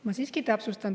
Ma täpsustan.